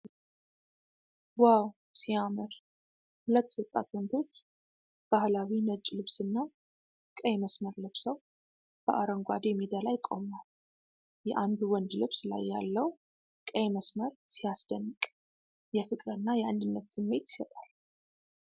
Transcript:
ዋው ሲያምር! ሁለት ወጣት ወንዶች በባህላዊ ነጭ ልብስና ቀይ መስመር ለብሰው በአረንጓዴ ሜዳ ላይ ቆመዋል። የአንዱ ወንድ ልብስ ላይ ያለው ቀይ መስመር ሲያስደንቅ! የፍቅርና የአንድነት ስሜት ይሰጣል።